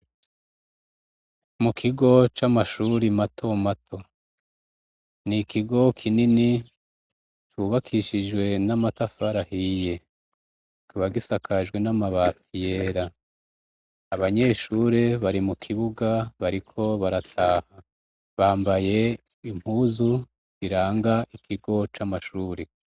Mu kigo c'amashure matomato. Ni ikigo kinini, cubakishijwe n'amatafari ahiye. Kikaba gisakajwe n'amabati yera. Abanyeshure bari mu kibuga bariko barataha. Bambaye impuzu ziranga ikigo c'amashure.